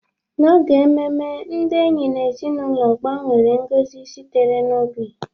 N'oge ememe, ndị enyi na ezinụlọ gbanwere ngozi sitere n'obi